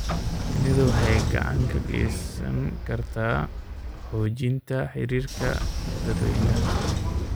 Shinnidu waxay gacan ka geysan kartaa xoojinta xiriirka dadweynaha.